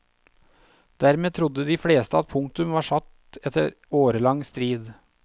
Dermed trodde de fleste at punktum var satt etter årelang strid.